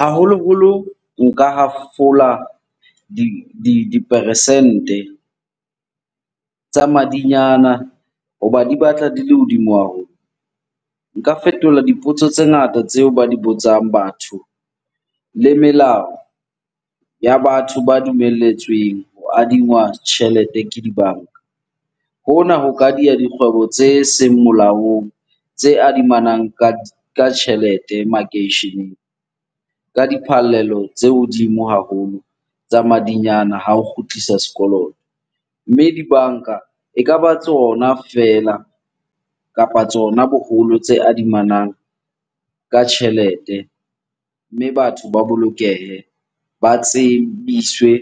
Haholoholo nka hafola diperesente tsa madinyana hoba di batla di le hodimo haholo. Nka fetola dipotso tse ngata tseo ba di botsang batho le melao ya batho ba dumelletsweng ho adingwa tjhelete ke dibanka. Hona ho ka diya dikgwebo tse seng molaong tse adimanang ka tjhelete makeisheneng ka diphallelo tse hodimo haholo tsa madinyane ha o kgutlisa sekoloto. Mme dibanka ekaba tsona feela kapa tsona boholo tse adimanang ka tjhelete, mme batho ba bolokehe, ba tsebiswe